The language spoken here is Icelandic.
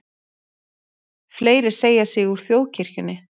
Fleiri segja sig úr þjóðkirkjunni